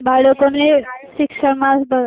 બાળકોને શિક્ષણ માં